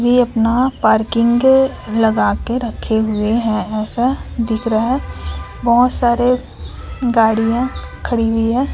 ये अपना पार्किंग लगा के रखे हुए हैं ऐसा दिख रहा बहोत सारे गाड़ियां खड़ी हुई हैं।